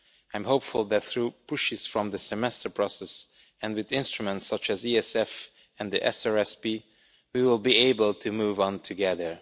I am hopeful that through pushes from the Semester process, and with instruments such as the ESF and the SRSP, we will be able to move on together.